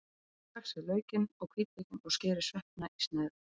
Saxið laukinn og hvítlaukinn og skerið sveppina í sneiðar.